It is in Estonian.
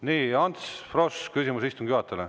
Nii, Ants Frosch, küsimus istungi juhatajale.